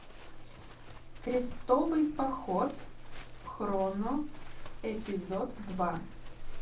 крестовый поход хроно эпизод два